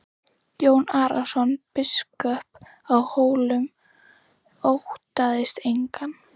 Jón Arason biskup á Hólum óttaðist engan.